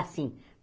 Assim.